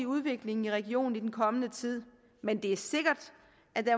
udviklingen i regionen i den kommende tid men det er sikkert at den